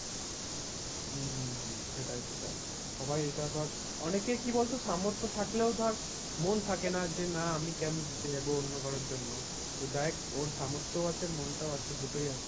হম হম হম সেটাই সেটাই সবাই এটা ধর অনেকে কি বলতো সামর্থ থাকলেও ধর মন থেকে যে না আমি কেন দিতে যাবো অন্য কারোর জন্য? তো যাই হোক ওর সামর্থ আছে মনটাও আছে দুটোই আছে